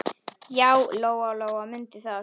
Já, Lóa-Lóa mundi það.